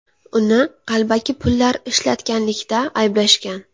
Uni qalbaki pullar ishlatganlikda ayblashgan.